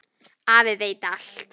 Afi veit allt.